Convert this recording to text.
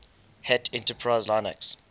hat enterprise linux